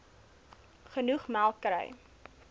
genoeg melk kry